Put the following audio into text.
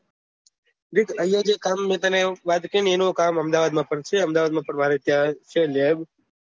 દેખ અયીયા જે કામ મેં તને વાત કરી એનું કામ અમદાવાદ માં પણ છે અમદાવાદ માં મારે ત્યાં છે લેબ